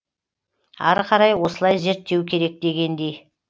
ары қарай осылай зерттеу керек дегендей